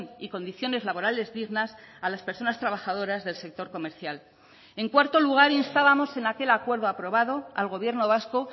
y condiciones laborales dignas a las personas trabajadoras del sector comercial en cuarto lugar instábamos en aquel acuerdo aprobado al gobierno vasco